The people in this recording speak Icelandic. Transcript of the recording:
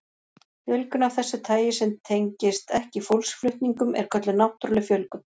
Fjölgun af þessu tagi sem tengist ekki fólksflutningum er kölluð náttúruleg fjölgun.